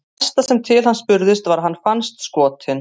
Það næsta sem til hans spurðist var að hann fannst skotinn.